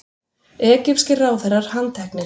Egypskir ráðherrar handteknir